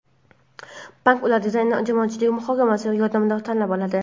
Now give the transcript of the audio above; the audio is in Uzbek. Bank ular dizaynini jamoatchilik muhokamasi yordamida tanlab oladi.